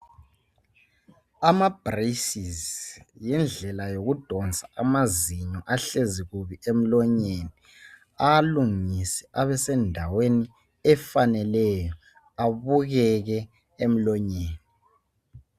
Ama"braces" yindlela yokudonsa amazinyo ahlezi kubi emlonyeni, awalungise abesendaweni efaneleyo abukeke emlonyeni.